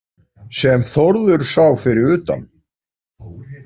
Sem Þórður sá fyrir utan.